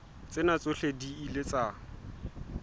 tsena tsohle di ile tsa